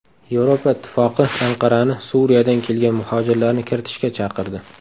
Yevropa Ittifoqi Anqarani Suriyadan kelgan muhojirlarni kiritishga chaqirdi.